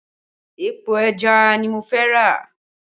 Epo ẹja ni mo fẹ́ rà